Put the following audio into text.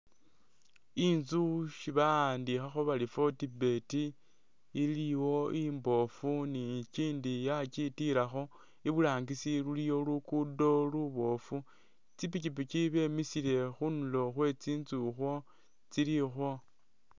Inzu isi bawandikhakho bari Fortbet iliwo imboofu ni ikindi yakitiilakho. Iburangisi iliwo luguudo luboofu, tsipipiki bemisile khunulo khwe tsinzu ukhwo tsili ukhwo.